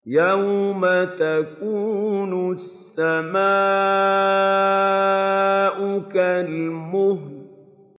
يَوْمَ تَكُونُ السَّمَاءُ كَالْمُهْلِ